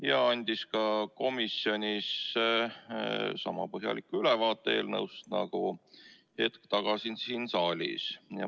Ta andis ka komisjonis sama põhjaliku ülevaate eelnõust nagu hetk tagasi siin saalis.